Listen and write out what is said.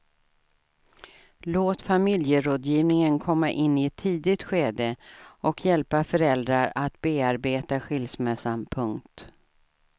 Låt familjerådgivningen komma in i ett tidigt skede och hjälpa föräldrar att bearbeta skilsmässan. punkt